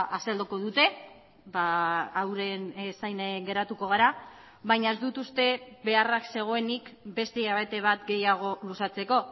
azalduko dute euren zain geratuko gara baina ez dut uste beharrak zegoenik beste hilabete bat gehiago luzatzeko